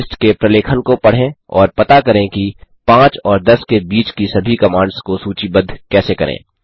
hist के प्रलेखन को पढ़ें और पता करें कि 5 और 10 के बीच की सभी कमांड्स को सूचीबद्ध कैसे करें